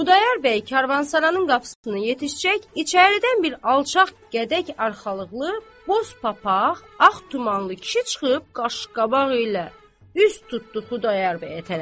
Xudayar bəy karvansaranın qapısına yetişəcək, içəridən bir alçaq gədək arxalıqlı, boz papaq, ağ tumanlı kişi çıxıb qaşqabaq ilə üz tutdu Xudayar bəyə tərəf.